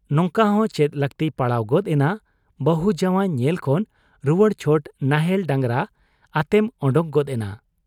ᱱᱚᱝᱠᱟᱦᱚᱸ ᱪᱮᱫ ᱞᱟᱹᱠᱛᱤ ᱯᱟᱲᱟᱣ ᱜᱚᱫ ᱮᱱᱟ ᱵᱟᱹᱦᱩ ᱡᱟᱶᱟᱭ ᱧᱮᱞ ᱠᱷᱚᱱ ᱨᱩᱣᱟᱹᱲ ᱪᱷᱚᱴ ᱱᱟᱦᱮᱞ ᱰᱟᱝᱜᱚᱨ ᱟᱛᱮᱢ ᱚᱰᱚᱜ ᱜᱚᱫ ᱮᱱᱟ ?